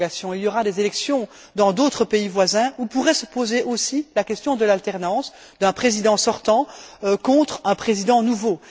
Il y aura des élections dans d'autres pays voisins où pourrait se poser aussi la question de l'alternance d'un président sortant contre un président nouveau.